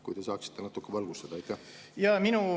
Kui te saaksite natukene valgustada?